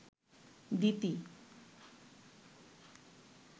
দিতি